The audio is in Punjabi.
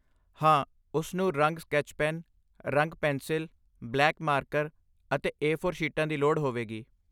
ਹਾਂ, ਉਸ ਨੂੰ ਰੰਗ ਸਕੈਚ ਪੈਨ, ਰੰਗ ਪੈਨਸਿਲ, ਬਲੈਕ ਮਾਰਕਰ ਅਤੇ ਏ ਫੋਰ ਸ਼ੀਟਾਂ ਦੀ ਲੋੜ ਹੋਵੇਗੀ